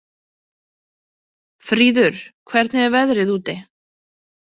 Fríður, hvernig er veðrið úti?